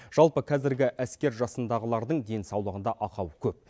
жалпы қазіргі әскер жасындағылардың денсаулығында ақау көп